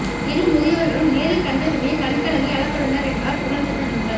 இரு முதியவர்களும் நேரில் கண்டதுமே கண்கலங்கி அழத்தொடங்கினர் என்றார் உடன் சென்ற நண்பர்